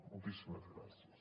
moltíssimes gràcies